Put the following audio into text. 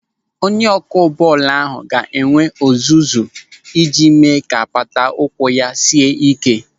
Onye ọkụ bọọlụ ahụ ga-enwe ọzụzụ iji mee ka apata ụkwụ ya sie ị́ké.